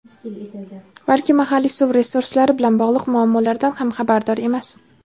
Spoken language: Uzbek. balki mahalliy suv resurslari bilan bog‘liq muammolardan ham xabardor emas.